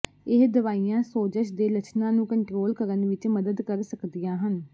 ਇਹ ਦਵਾਈਆਂ ਸੋਜਸ਼ ਦੇ ਲੱਛਣਾਂ ਨੂੰ ਕੰਟ੍ਰੋਲ ਕਰਨ ਵਿੱਚ ਮਦਦ ਕਰ ਸਕਦੀਆਂ ਹਨ